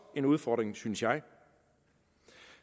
en udfordring synes jeg